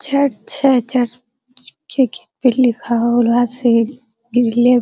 छड़ छै छड़ छे की --